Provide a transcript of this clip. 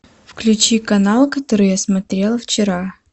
включи канал который я смотрела вчера